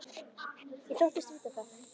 Ég þóttist vita það.